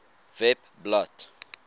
webblad